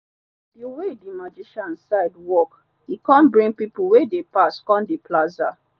the way the magician side walk e come bring people wey dey pass come the plaza.